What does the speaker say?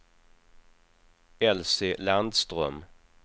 Elsie Landström